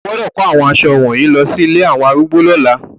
O gbọ́dọ̀ kó àwọn aṣọ wọ̀nyí lọsí ilé àwọn arúgbó lọ́la.